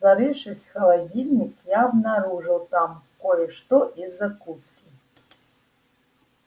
зарывшись в холодильник я обнаружил там кое-что из закуски